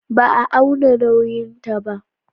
Ba a auna nauyinta ba.